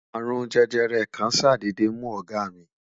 arun jẹjẹrẹ kàn sadede mu ọgá mí